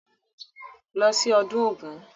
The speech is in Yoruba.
Lọ sí ọdún Ògún!